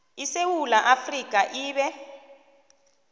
isewula afrika ibe